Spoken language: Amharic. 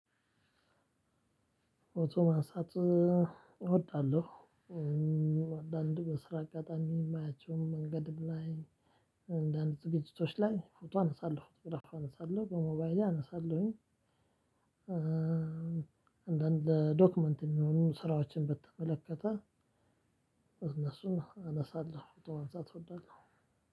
ፎቶ ማንሳት እወዳለሁ። አንዳንድ በስራ አጋጣሚ የማያቸውም መንገድ ላይ። አንዳንድ ዝግጅቶች ላይ ፎቶ አነሳለሁ ፎቶግራፍ አነሳለሁ በሞባይሌ አነሳለሁኝ። አንዳንድ ለዶክመንት የሚሆኑ ስራዎችን በተመለከተ እነሱን አነሳለሁ። ፎቶ ማንሳት እወዳለሁ።